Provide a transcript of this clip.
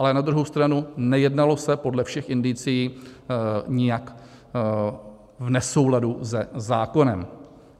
Ale na druhou stranu, nejednalo se podle všech indicií nijak v nesouladu se zákonem.